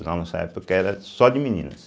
Na nossa época era só de meninas.